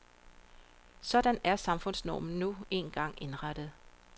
Sådan er samfundsnormen nu engang indrettet.